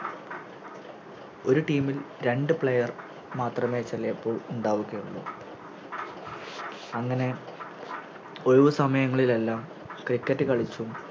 ഒര് Team ഇൽ രണ്ട് Player മാത്രമേ ചെലെപ്പോൾ ഉണ്ടാവുകയുള്ളു അങ്ങനെ ഒഴുവുസമയങ്ങളിലെല്ലാം Cricket കളിച്ചും